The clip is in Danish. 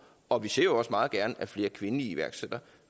og vi ser jo også meget gerne at flere kvindelige iværksættere